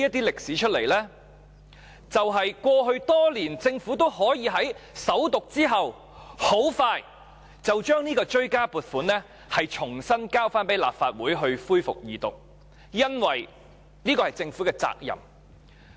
因為過去多年，政府均可在首讀後很快便將追加撥款條例草案提交立法會恢復二讀，因為這是政府的責任。